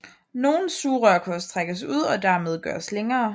Nogle sugerør kan også trækkes ud og dermed gøres længere